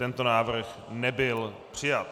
Tento návrh nebyl přijat.